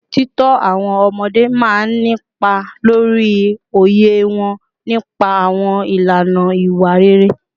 Títọ́ àwọn ọmọdé máa ń nípa lórí òye wọn nípa àwọn ìlànà ìwà rere